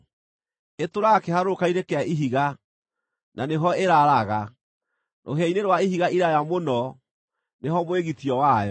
Ĩtũũraga kĩharũrũka-inĩ kĩa ihiga, na nĩ ho ĩraaraga; rũhĩa-inĩ rwa ihiga iraaya mũno nĩ ho mwĩgitio wayo.